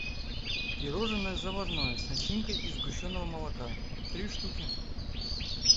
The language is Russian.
пирожное заварное с начинкой из сгущенного молока три штуки